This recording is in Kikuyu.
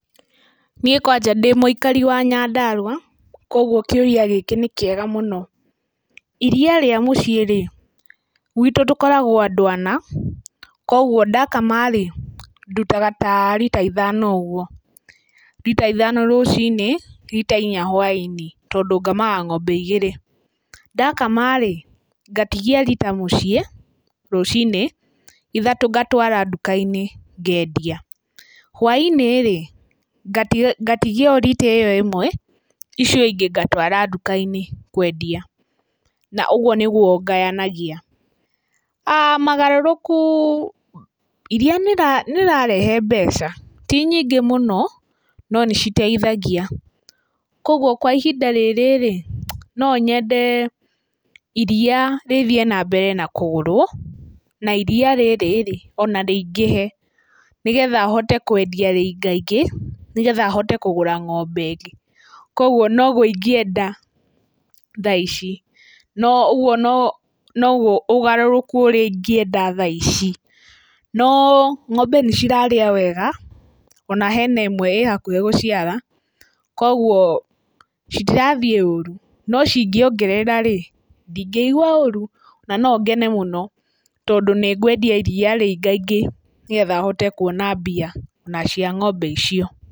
Niĩ kwanja ndĩ mũikari wa Nyandarũa koguo kĩũria gĩkĩ nĩ kĩega mũno. Iria rĩa mũciĩ-rĩ, gwitũ tũkoragwo andũ ana, koguo ndakama-rĩ ndutaga ta rita ithano ũguo, rita ithano rũcinĩ rita inya hwa-inĩ, tondũ ngamaga ng'ombe igĩri. Ndakama-rĩ, ngatigia rita muciĩ rũcinĩ ithatũ ngatũara nduka-inĩ ngendia. Hwa-inĩ-rĩ ngatigia o rita ĩyo ĩmwe ici ingĩ ngatũara nduka-inĩ kũendia, na ũguo nĩguo ngayanagia. Magũrũrũku, iria nĩrĩrarehe mbeca, ti nyingĩ mũno no nĩciteithagia, koguo kwa ihinda rĩrĩ-rĩ nonyende iria rĩthiĩ na mbere na kũgũrwo, na iria rĩrĩ-rĩ ona rĩingĩhe nĩgetha hote kũendia rĩingaingĩ nĩgetha hote kũgũra ng'ombe ĩngĩ. Koguo noguo ingĩenda tha ici, no ũgu no noguo ũgarũrũku ũrĩa ingĩenda tha ici. No ng'ombe nĩ cirarĩa wega, ona hena ĩmwe ĩhakuhĩ gũciara koguo citirathiĩ ũru, no cingĩongerera-rĩ, ndĩngĩigua ũrũ na nongene mũno, tondũ nĩngũendia iria rĩingaingĩ, nĩgetha hote kũona mbia ona cia ng'ombe icio.